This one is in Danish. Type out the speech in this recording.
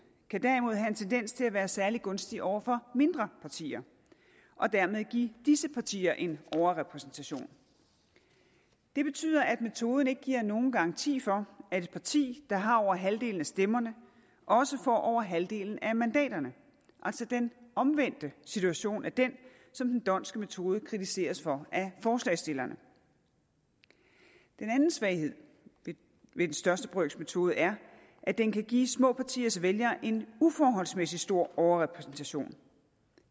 kan derimod have en tendens til at være særlig gunstig over for mindre partier og dermed give disse partier en overrepræsentation det betyder at metoden ikke giver nogen garanti for at et parti der har over halvdelen af stemmerne også får over halvdelen af mandaterne altså den omvendte situation af den som den dhondtske metode kritiseres for af forslagsstillerne den anden svaghed ved den største brøks metode er at den kan give små partiers vælgere en uforholdsmæssig stor overrepræsentation